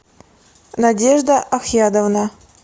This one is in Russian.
надежда ахьядовна